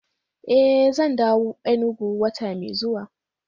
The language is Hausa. Eh zan dawo Enugu wata mai zuwa